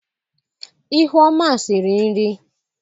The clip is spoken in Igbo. ihuọma siri nri